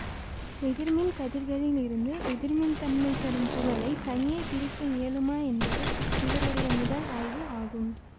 எதிர்மின்கதிர்களிலிருந்து எதிர்மின்தன்மை தரும் துகளைத் தனியே பிரிக்க இயலுமா என்பது இவருடைய முதல் ஆய்வு ஆகும்